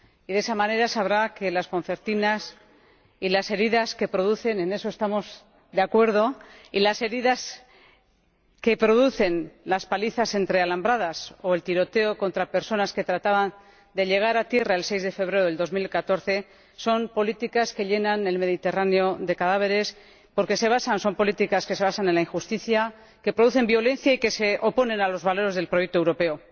De esa manera sabrá que las concertinas y las heridas que producen —en eso estamos de acuerdo—, las palizas entre alambradas o el tiroteo contra personas que trataban de llegar a tierra el 6 de febrero de 2014 son políticas que llenan el Mediterráneo de cadáveres, porque son políticas que se basan en la injusticia, que producen violencia y que se oponen a los valores del proyecto europeo.